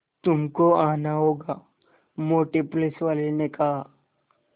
तुमको आना होगा मोटे पुलिसवाले ने कहा